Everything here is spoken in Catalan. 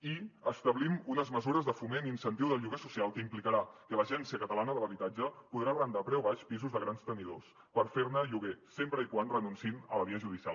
i establim unes mesures de foment i incentiu del lloguer social que implicaran que l’agència de l’habitatge de catalunya podrà arrendar a preu baix pisos de grans tenidors per fer ne lloguer sempre que renunciïn a la via judicial